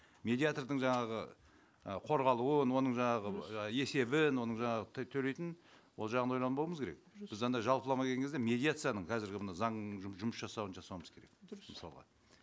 медиатордың жаңағы і қорғалуын оның жаңағы ы есебін оның жаңағы төлейтін ол жағын ойланбауымыз керек біз анандай жалпылама келген кезде медиацияның қазіргі мына заңның жұмыс жасауын жасауымыз керек дұрыс мысалға